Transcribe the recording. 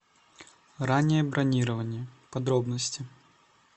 раннее бронирование подробности